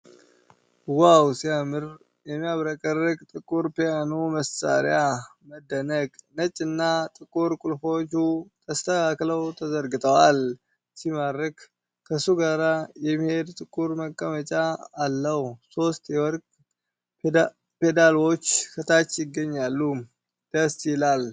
ዋው ሲያምር! የሚያብረቀርቅ ጥቁር ፒያኖ መሳሪያ። መደነቅ! ነጭና ጥቁር ቁልፎቹ ተስተካክለው ተዘርግተዋል። ሲማርክ። ከሱ ጋር የሚሄድ ጥቁር መቀመጫ አለው። ሶስት የወርቅ ፔዳልዎች ከታች ይገኛሉ። ደስ ይላል!